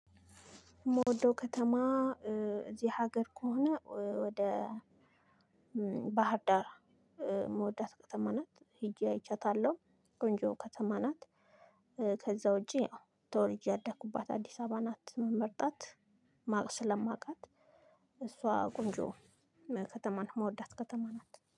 የምወደው ከተማ እ እዚህ ሀገር ከሆነ ወደ እ ባህርዳር እ ምወዳት ከተማ ናት ሄጄ አይቻታለሁ ቆንጆ ከተማ ናት። እ ከዛ ውጪ ያው ተውልጄ ያደኩባት አዲስ አበባ ናት። ምመርጣት ማቅ ስለማቃት እሷ ቆንጆ ከተማ ምወዳት ከተማ ናት